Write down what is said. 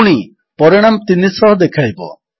ପୁଣି ପରିଣାମ 300 ଦେଖାଇବ